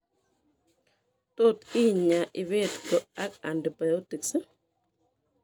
Tot inyaa impetgo ak antibiotics